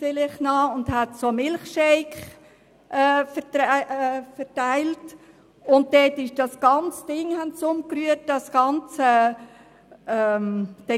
Vielleicht erinnern Sie sich daran, dass der ganze Getränkestand umgeworfen wurde.